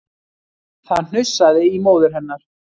Það hnussaði í móður hennar